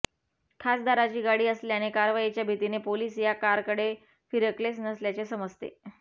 खासदाराची गाडी असल्याने कारवाईच्या भीतीने पोलिस या कारकडे फिरकलेच नसल्याचे समजते